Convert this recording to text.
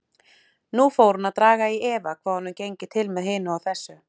Nú fór hún að draga í efa hvað honum gengi til með hinu og þessu.